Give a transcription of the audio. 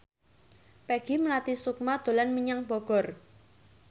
Peggy Melati Sukma dolan menyang Bogor